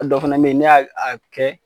A dɔ fana bɛ yen ni y'a a kɛ